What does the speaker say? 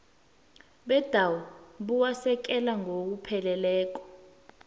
bendawo buwasekela ngokupheleleko